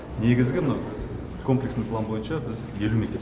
негізгі мына комплексный план бойынша біз елу мектеп